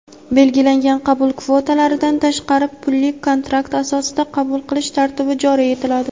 belgilangan qabul kvotalaridan tashqari pulli-kontrakt asosida qabul qilish tartibi joriy etiladi.